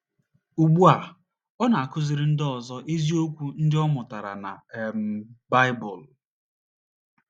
Ugbu a, ọ na - akọziri ndị ọzọ eziokwu ndị ọ mụtara na um Baịbụl.